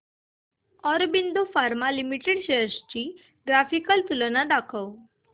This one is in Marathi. ऑरबिंदो फार्मा लिमिटेड शेअर्स ची ग्राफिकल तुलना दाखव